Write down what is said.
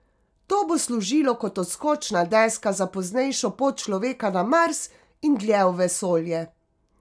To bo služilo kot odskočna deska za poznejšo pot človeka na Mars in dlje v vesolje.